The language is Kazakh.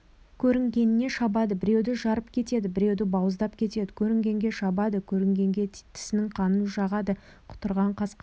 көрінгенге шабады біреуді жарып кетеді біреуді бауыздап кетеді көрінгенге шабады көрінгенге тісінің қанын жағады құтырған қасқыр